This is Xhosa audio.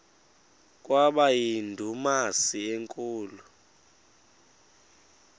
kwaba yindumasi enkulu